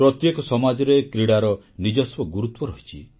ପ୍ରତ୍ୟେକ ସମାଜରେ କ୍ରୀଡ଼ାର ନିଜସ୍ୱ ଗୁରୁତ୍ୱ ରହିଛି